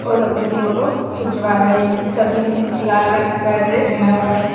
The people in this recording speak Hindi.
और अपनी फोटो खींचवा रहें हैं सभी ने लाल रंग का ड्रेस पहना हुआ है।